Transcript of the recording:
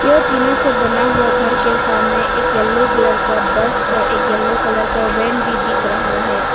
ये टीना से बना हुआ घर के सामने एक येलो कलर का बस और एक येलो कलर का वैन भी दिख रहा है।